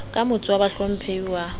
ka motes wa bahlomphehi wa